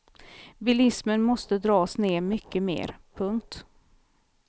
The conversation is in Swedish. Bilismen måste dras ned mycket mer. punkt